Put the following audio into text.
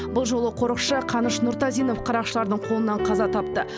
бұл жолы қорықшы қаныш нұртазинов қарақшылардың қолынан қаза тапты